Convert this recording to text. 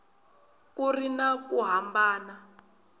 ku ri na ku hambana